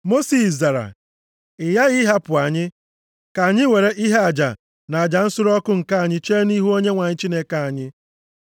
Mosis zara, “Ị ghaghị ịhapụ anyị ka anyị were ihe aja na aja nsure ọkụ, nke anyị chee nʼihu Onyenwe anyị Chineke anyị.